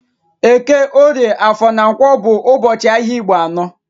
Eke, orie, afor na Nkwo bụ ụbọchị ahịa Igbo anọ